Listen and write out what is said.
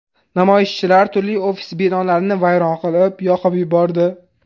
Namoyishchilar turli ofis binolarini vayron qilib, yoqib yubordi.